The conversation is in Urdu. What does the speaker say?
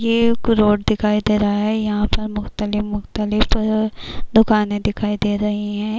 یہ ایک روڈ دکھائی دے رہا ہے۔ یہا پر مختلف-مختلف دکانی دکھائی دے رہی ہے۔